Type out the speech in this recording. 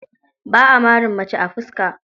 Ba a marin mace a fuska.